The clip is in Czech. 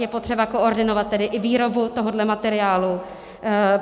Je potřeba koordinovat tedy i výrobu tohoto materiálu.